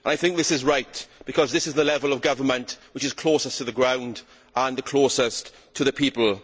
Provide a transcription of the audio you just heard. That is right, because this is the level of government which is closest to the ground and the closest to the people.